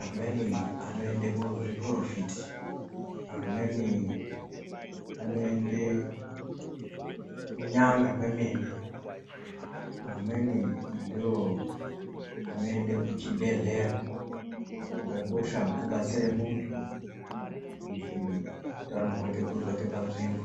amweni anoende kuzviporofiti, amweni anoende kunyanga kwemene, amweni ndiwo anoende kuchibhehleya. Chakakosha kubatsire muntu kuti utano hwake hudzoke panzvimbo.